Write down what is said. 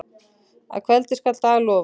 Að kveldi skal dag lofa.